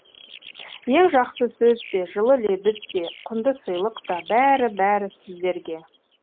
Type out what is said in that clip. ең жақсы сөз де жылы лебіз де құнды сыйлық та бәрі бәрі сіздерге